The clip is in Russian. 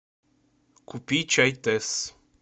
купи чай тесс